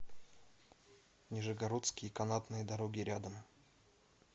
нижегородские канатные дороги рядом